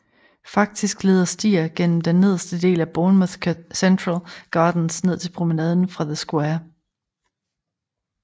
Faktisk leder stier gennem den nederste del af Bournemouth Central Gardens ned til Promenaden fra The square